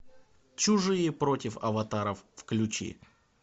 чужие против аватаров включи